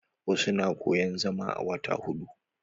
Wasu na koyan zama a wata huɗu.